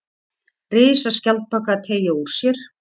Risaskjaldbaka að teygja úr sér.